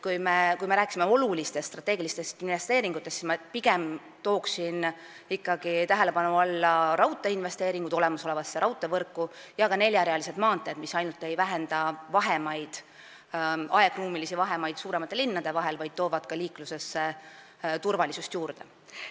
Aga kui jutt on olulistest strateegilistest investeeringutest, siis ma pigem tooksin tähelepanu alla investeeringud olemasolevasse raudteevõrku ja ka neljarealised maanteed, mis ainult ei vähenda aegruumilisi vahemaid suuremate linnade vahel, vaid toovad liiklusesse ka turvalisust juurde.